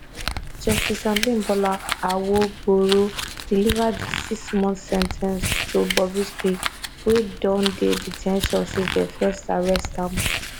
justice abimbola awogboro deliver di sixmonth sen ten ce to bobrisky wey don dey de ten tion since dem first arrest am